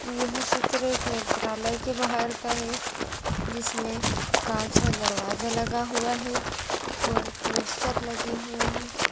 यह चित्र एक नेत्रालय के बाहर का है जिसमे कांच का दरवाजा लगा हुआ है और पोस्टर लगी हुए है।